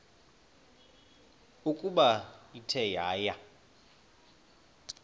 ukuba ithe yaya